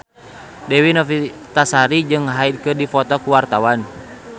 Dewi Novitasari jeung Hyde keur dipoto ku wartawan